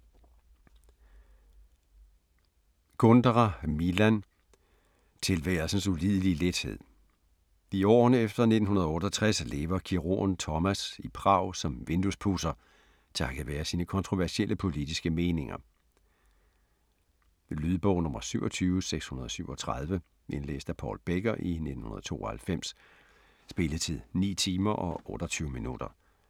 Kundera, Milan: Tilværelsens ulidelige lethed I årene efter 1968 lever kirurgen Tomas i Prag som vinduespudser, takket være sine kontroversielle politiske meninger. Lydbog 27637 Indlæst af Paul Becker, 1992. Spilletid: 9 timer, 28 minutter.